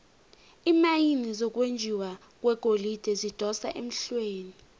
iimayini zokwenjiwa kwegolide zidosa emhlweni